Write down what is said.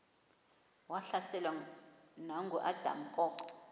wahlaselwa nanguadam kok